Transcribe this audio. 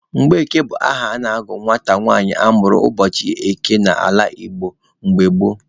Mgbeke bụ aha a na-agụ nwata nwanyị a mụrụ ụbọchị eke n'ala Igbo mgbe gboo.